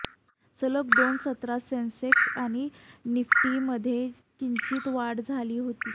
सलग दोन सत्रात सेन्सेक्स आणि निफ्टीमध्ये किंचित वाढ झाली होती